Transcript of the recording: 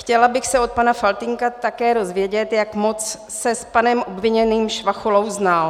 Chtěla bych se od pana Faltýnka také dozvědět, jak moc se s panem obviněným Švachulou znal.